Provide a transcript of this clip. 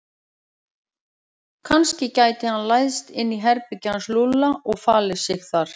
Kannski gæti hann læðst inn í herbergið hans Lúlla og falið sig þar.